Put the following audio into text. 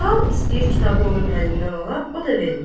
Cəlal istəyir kitabı onun əlindən ala, o da vermir.